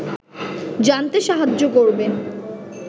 জানতে সাহায্য করবে